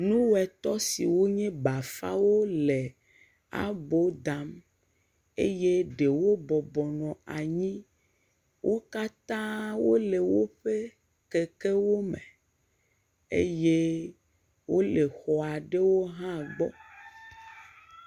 Nu etɔ̃ siwo nye bafawo le abo dam eye ɖewo bɔbɔnɔ anyi wo katã wo le woƒe kekewo me eye wo le xɔ aɖewo hã gbɔ.